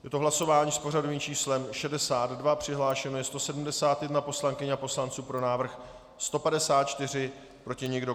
Je to hlasování s pořadovým číslem 62, přihlášeno je 171 poslankyň a poslanců, pro návrh 154, proti nikdo.